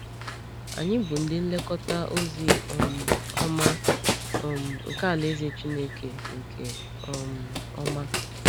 Anyị bụ ndị nlekọta ozi um ọma um nke alaeze Chineke nke um ọma.